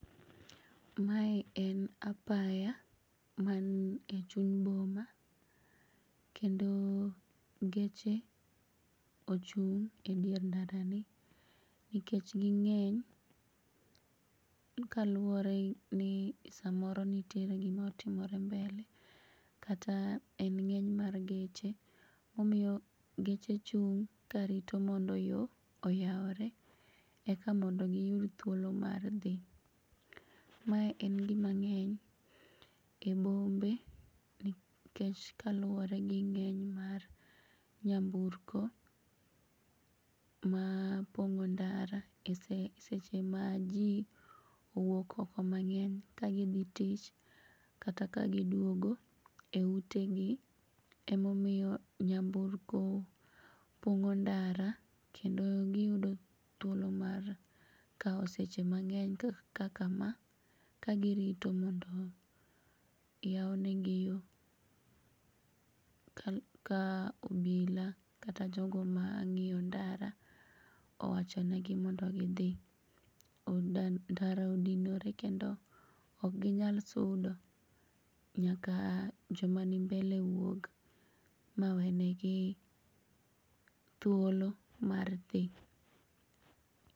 Mae en apaya man echuny boma kendo geche ochung' e dier ndarani nikech ging'eny kaluore ni samoro nitiere gima otimore mbele kata en ng'eny mar geche momiyo geche chung' karito mondo yoo oyaure eka mondo giyud thuolo mar dhi. Mae en gima ng'eny e bombe nikech kaluore gi ng'eny mar nyamburko ma opong'o ndara e seche ma jii owuok oko mang'eny kagidhi tich kata kagiduogo eute gi. Emomiyo nyamburko pong'o ndara kendo giyudo thuolo mar kao seche mang'eny kaka ma kagirito mondo oyaunegi yoo ka obila kata jogo mang'iyo ndara owachonegi mondo gidhi. Ndara odinore kendo okginyal sudo nyaka joma ni mbele owuog mawenegi thuolo mar dhi.